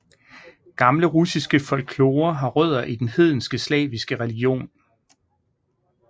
Gamle russiske folklore har rødder i den hedenske slaviske religion